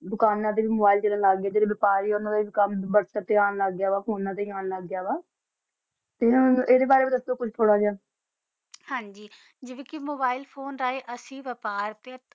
ਦੋਕਾਨਾ ਦਾ ਨਾਲ ਨਾਲ ਬਾਫਾਰੀ ਆ ਓਨਾ ਦਾ ਕਾਮ ਵੀ ਫੋਨਾ ਤਾ ਹੀ ਆਂ ਲਾਗ ਗਾ ਵਾ ਤਾ ਅੰਦਾ ਬਾਰਾ ਦਸੋ ਕੁਚਜ ਹਨ ਗ ਜੀਵਾ ਕਾ ਅਸੀਂ ਮੋਬਿਲੇ ਫੋਨੇ ਕਾ ਬਪਾਰ